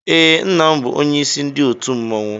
Ee, Nna m bụ onyeisi ndị otu mmọnwụ.